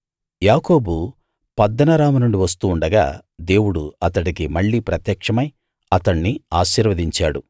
యాకోబు పద్దనరాము నుండి వస్తూ ఉండగా దేవుడు అతడికి మళ్ళీ ప్రత్యక్షమై అతణ్ణి ఆశీర్వదించాడు